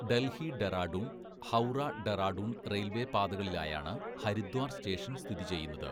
Delhi-Dehradun, ഹൗറ-ഡെറാഡൂൺ railway പാതകളിലായാണ് Haridwar station സ്ഥിതി ചെയ്യുന്നത്.